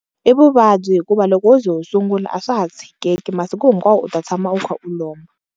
I vuvabyi hikuva loko wo ze u sungula a swa ha tshikeki masiku hinkwawo u ta tshama u kha u lomba.